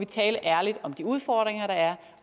tale ærligt om de udfordringer der er